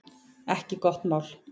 Ekki gott mál